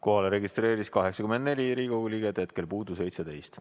Kohalolijaks registreerus 84 Riigikogu liiget, hetkel puudub 17.